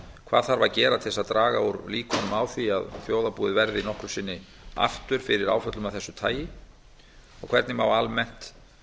hvað þarf að gera til þess að draga úr líkum á því að þjóðarbúið verði nokkru sinni aftur fyrir áföllum af þessu tagi og hvernig má almennt